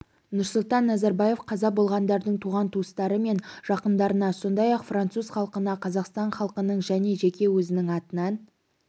нұрсұлтан назарбаев қаза болғандардың туған-туыстары мен жақындарына сондай-ақ француз халқына қазақстан халқының және жеке өзінің атынан